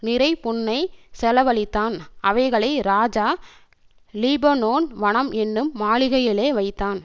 நிறைபொன்னைச் செலவழித்தான் அவைகளை ராஜா லீபனோன் வனம் என்னும் மாளிகையிலே வைத்தான்